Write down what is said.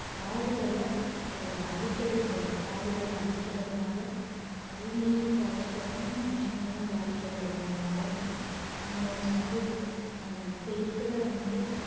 காடுகளை அஹ் அழிக்கவேகூடாது காடுகளை அழிக்கறதுனால பூமியையும் பாதிக்கப்படும் மனுஷங்களும் பாதிக்கப்படுவாங்க நாளைக்கு நம்மளோட சந்ததிகள் இப்ப இருக்கிற வந்து